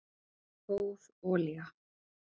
góð olía